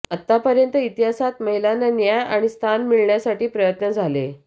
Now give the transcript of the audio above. आतापर्यंत इतिहासात महिलांना न्याय आणि स्थान मिळण्यासाठी प्रयत्न झाले